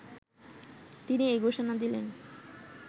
তিনি এই ঘোষণা দিলেন